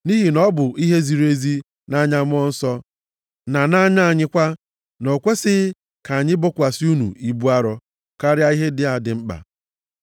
Nʼihi na ọ bụ ihe ziri ezi nʼanya Mmụọ Nsọ na nʼanya anyị kwa, na o kwesighị ka anyị bokwasị unu ibu arọ karịa ihe ndị a dị mkpa.